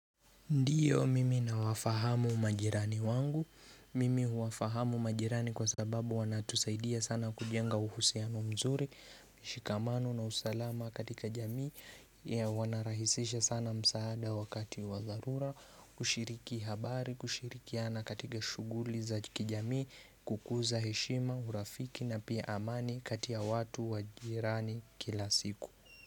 Ndiyo mimi nawafahamu majirani wangu, mimi huwafahamu majirani kwa sababu wanatusaidia sana kujenga uhusiano mzuri, shikamano na usalama katika jamii ya wanarahisisha sana msaada wakati wadharura, kushiriki habari, kushirikiana katika shughuli za kijamii, kukuza heshima, urafiki na pia amani kati ya watu wa jirani kila siku.